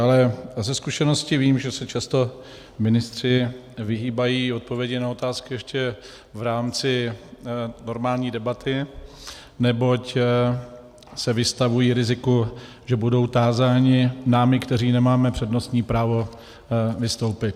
Ale ze zkušenosti vím, že se často ministři vyhýbají odpovědi na otázky ještě v rámci normální debaty, neboť se vystavují riziku, že budou tázáni námi, kteří nemáme přednostní právo vystoupit.